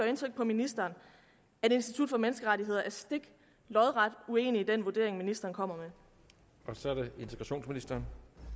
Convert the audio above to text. indtryk på ministeren at institut for menneskerettigheder er lodret uenig i den vurdering ministeren kommer med